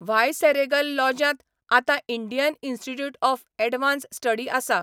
Viceregal लॉजांत आतां Indian institute of advance study आसा.